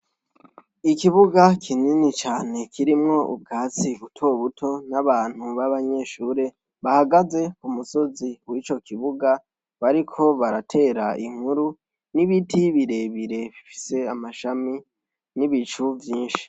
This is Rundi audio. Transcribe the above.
Ikibuga kinini cane kirimwo ubwatsi butobuto, n'abantu b'abanyeshure bahagaze ku musozi w'ico kibuga, bariko baratera inkuru, n'ibiti birebire bifise amashami, n'ibicu vyinshi.